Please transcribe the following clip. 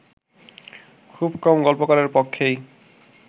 খুব কম গল্পকারের পক্ষেই